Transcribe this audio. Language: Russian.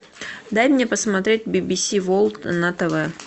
дай мне посмотреть би би си ворлд на тв